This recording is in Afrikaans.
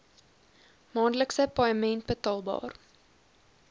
maandelikse paaiement betaalbaar